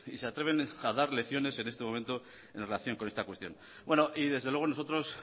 se atreven a dar lecciones en este momento en relación con esta cuestión y desde luego nosotros